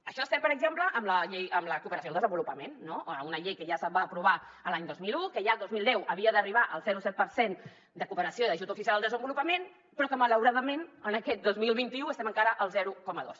això no és cert per exemple en la cooperació al desenvolupament no una llei que ja es va aprovar l’any dos mil un que ja el dos mil deu havia d’arribar al zero coma set per cent de cooperació i d’ajut oficial al desenvolupament però que malauradament en aquest dos mil vint u estem encara al zero coma dos